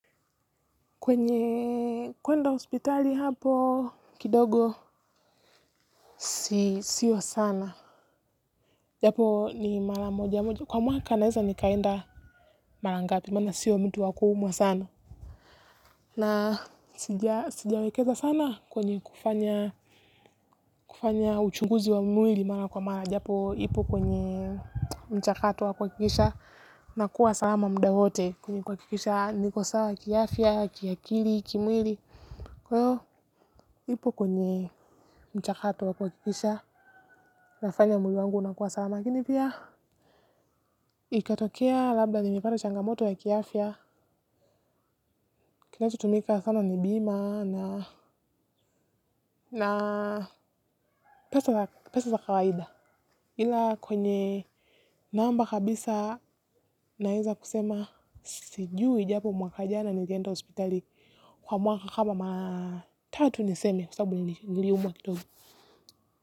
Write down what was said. Kwenye kwenda hospitali hapo, kidogo, siyo sana. Japo ni mara moja moja. Kwa mwaka naweza nikaenda marangapi, mana siyo mtu wakuumwa sana. Na sijawekeza sana kwenye kufanya uchunguzi wa mwili mara kwa mara. Japo ipo kwenye mchakato wa kuhakikisha. Nakua salama muda wote kwenye kwa kuhakikisha nikosawa ki afya, kiakili, kimwili. Kwahiyo, nipo kwenye mchakato wakuha kikisha, nafanya mwili wangu unakuwa salama lakini pia. Ikatokea labda nimepata changamoto ya kiafya. Kinachutumika sana ni bima na pesa za kawaida. Ila kwenye namba kabisa naweza kusema sijui japo mwaka jana nilienda hospitali. Kwa mwaka kama mara tatu niseme kwasababu ni nili umwa kito.